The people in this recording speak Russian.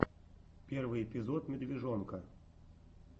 первый эпизод медвежонка